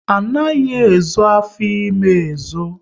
Anaghi ezo afọ ime ezo